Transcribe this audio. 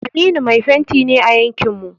Aminu mai fenti ne a yankin mu.